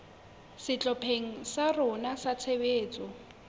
sehlopheng sa rona sa tshebetso